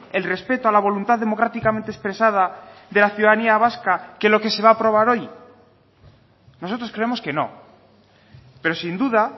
el respeto a la voluntad democráticamente expresada de la ciudadanía vasca que lo que se va a aprobar hoy nosotros creemos que no pero sin duda